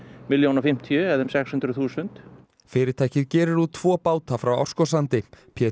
milljón og fimmtíu eða um sex hundruð þúsund fyrirtækið gerir út tvo báta frá Árskógssandi Pétur